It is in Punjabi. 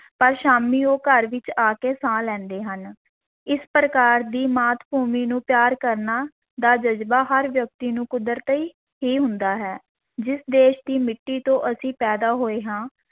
ਪਰ ਸ਼ਾਮੀਂ ਉਹ ਘਰ ਵਿੱਚ ਆ ਕੇ ਸਾਹ ਲੈਂਦੇ ਹਨ, ਇਸ ਪ੍ਰਕਾਰ ਦੀ ਮਾਤ-ਭੂਮੀ ਨੂੰ ਪਿਆਰ ਕਰਨਾ ਦਾ ਜਜ਼ਬਾ ਹਰ ਵਿਅਕਤੀ ਨੂੰ ਕੁਦਰਤੀ ਹੀ ਹੁੰਦਾ ਹੈ, ਜਿਸ ਦੇਸ਼ ਦੀ ਮਿੱਟੀ ਤੋਂ ਅਸੀਂ ਪੈਦਾ ਹੋਏ ਹਾਂ,